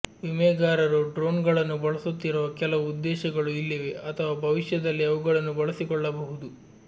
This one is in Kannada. ವಿಮೆಗಾರರು ಡ್ರೋನ್ಗಳನ್ನು ಬಳಸುತ್ತಿರುವ ಕೆಲವು ಉದ್ದೇಶಗಳು ಇಲ್ಲಿವೆ ಅಥವಾ ಭವಿಷ್ಯದಲ್ಲಿ ಅವುಗಳನ್ನು ಬಳಸಿಕೊಳ್ಳಬಹುದು